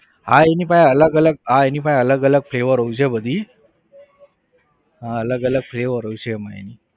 હા એની પાસે અલગ અલગ હા એની પાસે અલગ અલગ flavour હોય છે બધી હા અલગ અલગ flavour હોય છે એમાં એની